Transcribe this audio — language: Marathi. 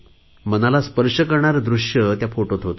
मनाला स्पर्श करणारे दृश्य त्या फोटोत होते